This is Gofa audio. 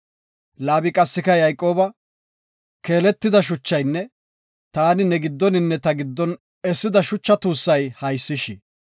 Laabi qassika, “Keeletida shuchaynne taani ne giddoninne ta giddon essida shucha tuussay haysish.